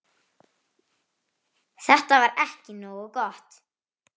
Þetta var ekki nógu gott.